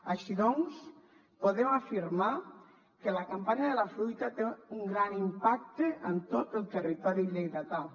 així doncs podem afirmar que la campanya de la fruita té un gran impacte en tot el territori lleidatà